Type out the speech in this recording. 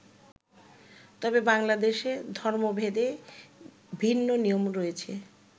তবে বাংলাদেশে ধর্ম ভেদে ভিন্ন নিয়ম রয়েছে।